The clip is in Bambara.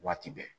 Waati bɛɛ